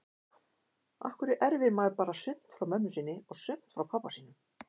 Af hverju erfir maður bara sumt frá mömmu sinni og sumt frá pabba sínum?